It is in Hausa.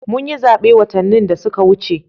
Mun yi zabe watanni da suka wuce